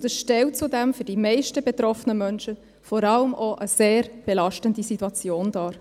Es stellt zudem für die meisten betroffenen Menschen vor allem auch eine sehr belastende Situation dar.